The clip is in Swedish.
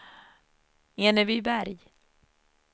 Enebyberg